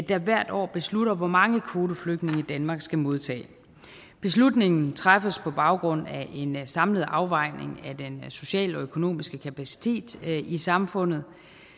der hvert år beslutter hvor mange kvoteflygtninge danmark skal modtage beslutningen træffes på baggrund af en samlet afvejning af den sociale og økonomiske kapacitet i samfundet